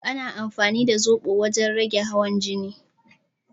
Ana amfani da zoɓo wajen rage hawan jini